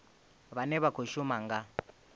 vhane vha khou shuma nga